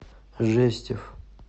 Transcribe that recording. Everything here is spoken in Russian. жестев